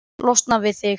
Losna við þig?